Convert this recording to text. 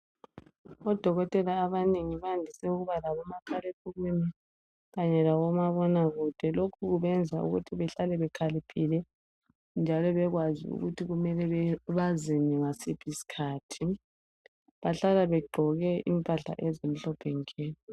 Odokotela abanengi bayandise ukuba labo makhalekhukhwini kanye labo mabonakude. Lokhu kubenza ukuthi behlale bekhaliphile njalo bekwazi ukuthi kumele bazeni ngasiphi isikhathi. Bahlala begqoke impahla ezimhlophe nke.